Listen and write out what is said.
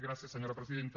gràcies senyora presidenta